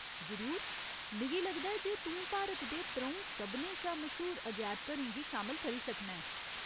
जरूर ! मिगी लगदा ऐ जे तूं भारत दे त्रऊं सभनें शा मश्हूर अजैबघरें गी शामल करी सकना ऐं।